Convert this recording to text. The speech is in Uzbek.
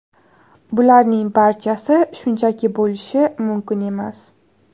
Bularning barchasi shunchaki bo‘lishi mumkin emas.